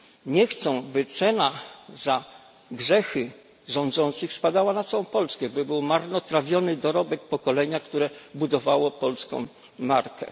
Nie chcą, by cena za grzechy rządzących spadała na całą Polskę, by był marnotrawiony dorobek pokolenia, które budowało polską markę.